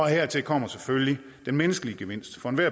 hertil kommer selvfølgelig den menneskelige gevinst for enhver